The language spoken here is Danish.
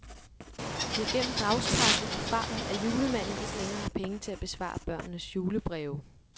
Vi har gennem dagspressen erfaret, at julemanden ikke længere har penge til at besvare børnenes julebreve.